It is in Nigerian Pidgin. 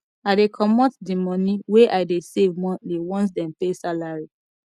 i dey comot di moni wey i dey save monthly once dem pay salary